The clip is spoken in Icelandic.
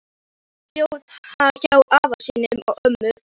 Gunni bjó hjá afa sínum og ömmu.